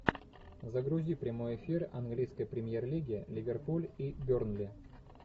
загрузи прямой эфир английской премьер лиги ливерпуль и бернли